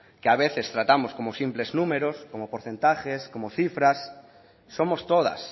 que a veces tratamos como simples números como porcentajes como cifras somos todas